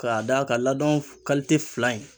K'a d'a ka laadɔn kalite fila in